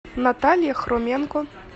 наталья хроменко